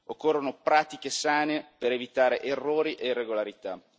Occorrono pratiche sane per evitare errori e irregolarità.